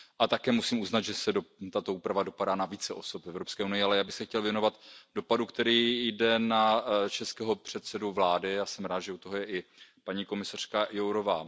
Také musím uznat, že tato úprava dopadá na více osob v Evropské unii. Ale já bych se chtěl věnovat dopadu, který je na českého předsedu vlády, já jsem rád, že u toho je i paní komisařka Jourová.